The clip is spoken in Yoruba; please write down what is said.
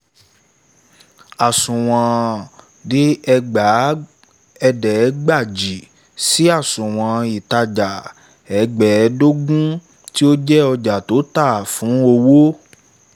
àsùwọ̀n. dé ẹgbàá ẹẹ̀dẹ̀gbàjì si àsùnwọ̀n ìtàjà. ẹgbẹ̀ẹ́dògún tó jẹ́ ojà tó tà fún owó